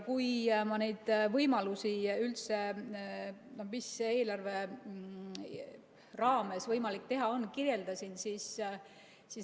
Ma neid võimalusi, mida eelarve raames võimalik teha on, kirjeldasin.